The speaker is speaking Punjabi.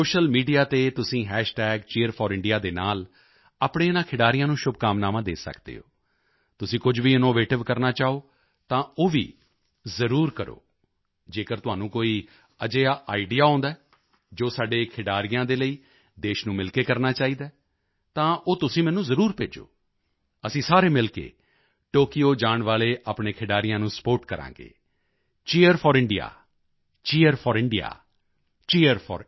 ਸੋਸ਼ੀਅਲ ਮੀਡੀਆ ਤੇ ਤੁਸੀਂ Cheer4India ਦੇ ਨਾਲ ਆਪਣੇ ਇਨ੍ਹਾਂ ਖਿਡਾਰੀਆਂ ਨੂੰ ਸ਼ੁਭਕਾਮਨਾਵਾਂ ਦੇ ਸਕਦੇ ਹੋ ਤੁਸੀਂ ਕੁਝ ਵੀ ਇਨੋਵੇਟਿਵ ਕਰਨਾ ਚਾਹੋ ਤਾਂ ਉਹ ਵੀ ਜ਼ਰੂਰ ਕਰੋ ਜੇਕਰ ਤੁਹਾਨੂੰ ਕੋਈ ਅਜਿਹਾ ਆਈਡੀਈਏ ਆਉਂਦਾ ਹੈ ਜੋ ਸਾਡੇ ਖਿਡਾਰੀਆਂ ਦੇ ਲਈ ਦੇਸ਼ ਨੂੰ ਮਿਲ ਕੇ ਕਰਨਾ ਚਾਹੀਦਾ ਹੈ ਤਾਂ ਉਹ ਤੁਸੀਂ ਮੈਨੂੰ ਜ਼ਰੂਰ ਭੇਜੋ ਅਸੀਂ ਸਾਰੇ ਮਿਲ ਕੇ ਟੋਕੀਓ ਜਾਣ ਵਾਲੇ ਆਪਣੇ ਖਿਡਾਰੀਆਂ ਨੂੰ ਸਪੋਰਟ ਕਰਾਂਗੇ Cheer4India Cheer4India Cheer4India